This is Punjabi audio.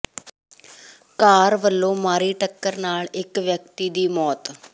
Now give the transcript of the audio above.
ਕਾਰ ਵਲੋਂ ਮਾਰੀ ਟੱਕਰ ਨਾਲ ਇਕ ਵਿਅਕਤੀ ਦੀ ਮੌਤ